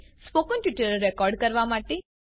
spoken tutorial record કરવા માટે